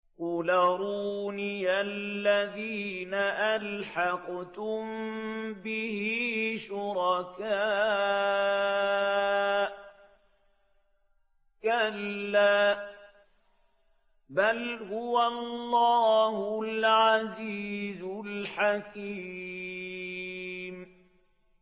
قُلْ أَرُونِيَ الَّذِينَ أَلْحَقْتُم بِهِ شُرَكَاءَ ۖ كَلَّا ۚ بَلْ هُوَ اللَّهُ الْعَزِيزُ الْحَكِيمُ